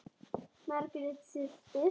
Margrét systir.